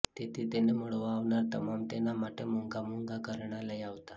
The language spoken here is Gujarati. તેથી તેને મળવા આવનાર તમામ તેના માટે મોંઘા મોંઘા ઘરેણાં લઇ આવતાં